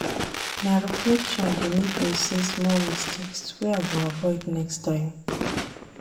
Na reflection dey make me see small mistakes wey I go avoid next time.